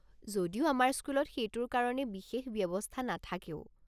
যদিও আমাৰ স্কুলত সেইটোৰ কাৰণে বিশেষ ব্যৱস্থা নাথাকেও।